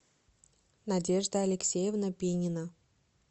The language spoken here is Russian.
надежда алексеевна пинина